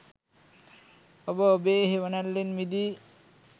ඔබ ඔබෙ හෙවනැල්ලෙන් මිදී